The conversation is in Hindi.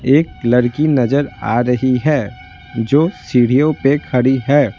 एक लड़की नजर आ रही है जो सीढ़ियों पर खड़ी है।